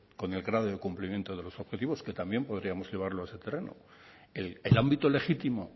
con el grado de cumplimiento de los objetivos que también podríamos llevarlo a ese terreno el ámbito legítimo